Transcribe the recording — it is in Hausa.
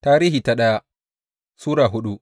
daya Tarihi Sura hudu